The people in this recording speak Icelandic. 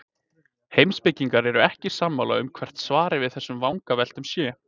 Heimspekingar eru ekki sammála um hvert svarið við þessum vangaveltum sé.